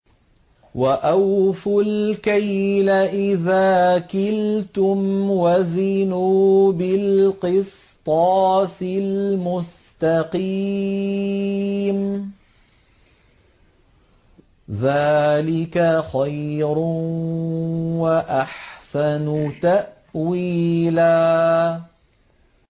وَأَوْفُوا الْكَيْلَ إِذَا كِلْتُمْ وَزِنُوا بِالْقِسْطَاسِ الْمُسْتَقِيمِ ۚ ذَٰلِكَ خَيْرٌ وَأَحْسَنُ تَأْوِيلًا